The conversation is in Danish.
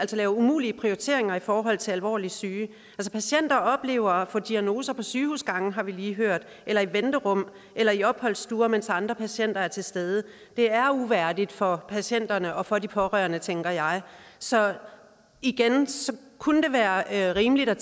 lave umulige prioriteringer i forhold til alvorligt syge patienter oplever at få diagnoser på sygehusgange har vi lige hørt eller i venterum eller i opholdsstuer mens andre patienter er til stede det er uværdigt for patienterne og for de pårørende tænker jeg så igen kunne det være rimeligt at